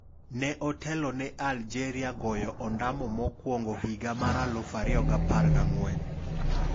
Ne otelo ne Aljeria goyo ondamo mokuongo higa mar 2014.